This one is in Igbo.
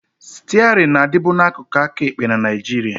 Stiarịn na-adịbu n'akụkụ aka ekpe na Nigeria